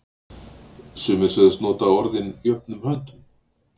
Sumir sögðust nota orðin jöfnum höndum.